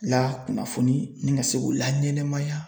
la kunnafoni ni ka se k'u laɲɛnɛmaya.